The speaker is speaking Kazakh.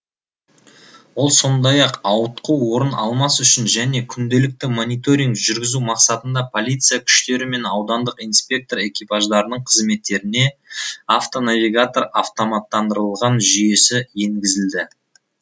ол сондай ақ ауытқу орын алмас үшін және күнделікті мониторинг жүргізу мақсатында полиция күштері мен аудандық инспектор экипаждарының қызметтеріне автонавигатор автоматтандырылған жүйесі енгізілді